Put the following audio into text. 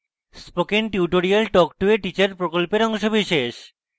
spoken tutorial talk to a teacher প্রকল্পের অংশবিশেষ